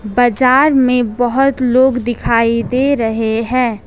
बाजार में बहुत लोग दिखाई दे रहे हैं ।